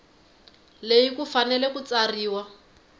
leyi ku fanele ku tsariwa